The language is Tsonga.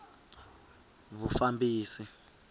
vufambisi